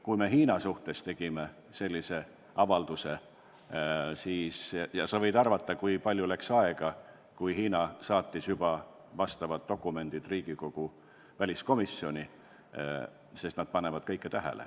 Kui me Hiina suhtes sellise avalduse tegime, siis sa võid arvata, kui palju läks aega, kui Hiina juba saatis vastavad dokumendid Riigikogu väliskomisjoni, sest nad panevad seal kõike tähele.